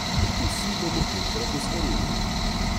Vsi bomo enkrat ostareli.